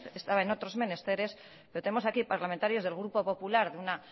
estaba en otros menesteres pero tenemos aquí parlamentarios del grupo popular de una